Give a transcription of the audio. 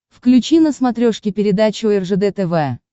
включи на смотрешке передачу ржд тв